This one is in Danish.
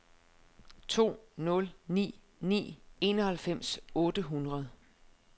to nul ni ni enoghalvfems otte hundrede